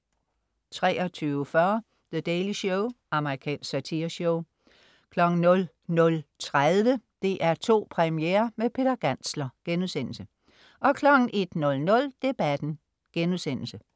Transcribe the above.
23.40 The Daily Show. Amerikansk satireshow 00.30 DR2 Premiere med Peter Gantzler* 01.00 Debatten*